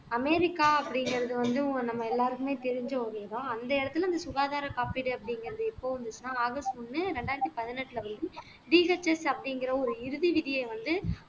America அப்படிங்கறது வந்து நம்ம எல்லாருக்குமே தெரிஞ்ச இடம் அந்த இடத்துல இந்த சுகாதார காப்பீடு அப்படிங்கிறது எப்போ வந்துச்சுன்னா ஆகஸ்ட் ஒண்ணு இரண்டாயிரத்தி பதினெட்டுல வந்து BHS அப்படிங்கற ஒரு இறுதி விதியை வந்து